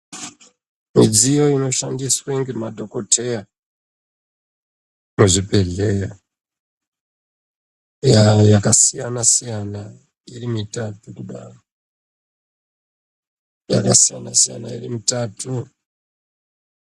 Mudziyo inoshandiswa ngemadhokodheya muzvibhehlera yakasiyana siyana irimutatu yakasiyana siyana irimutatuu